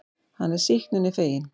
Hann er sýknunni feginn.